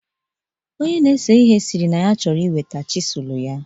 Onye na-ese ihe sịrị na ya chọrọ iweta chisụl ya.